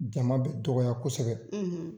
Jama bɛ dɔgɔya kosɛbɛ,